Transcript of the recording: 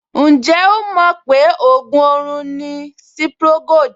Ǹjẹ́ ó mọ̀ pé ògùn orun ni Cipri Gold?